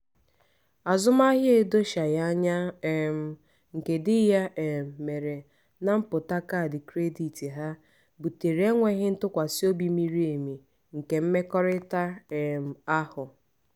azụmahịa edochaghi anya um nke dị ya um mere na mpụta kaadị kredit ha butere enweghị ntụkwasị obi miri emi nke mmekọrịta um ahụ